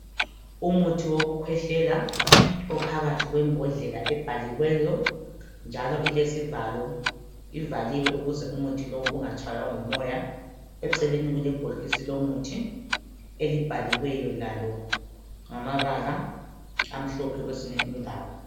Umuthi wokukhwehlela ophakathi kwembodlela ebhaliweyo njalo ilesivalo ivaliwe ukuze umuthi lo ungatshaywa ngumoya eceleni kulebhokisi lomuthi elibhaliweyo lalo ngamabala amhlophe kwezinye indawo.